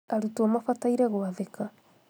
arũtwo mabataire gwathĩka